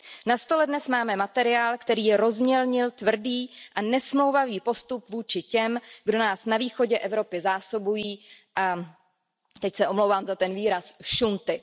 Na stole dnes máme materiál, který rozmělnil tvrdý a nesmlouvavý postup vůči těm, kdo nás na východě Evropy zásobují, teď se omlouvám za ten výraz, šunty.